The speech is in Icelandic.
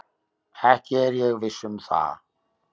Ekki er ég viss um það.